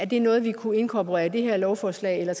det er noget vi kunne inkorporere i det her lovforslag eller